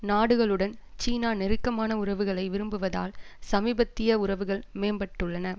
நாடுகளுடன் சீனா நெருக்கமான உறவுகளை விரும்புவதால் சமீபத்திய உறவுகள் மேம்பட்டுள்ளன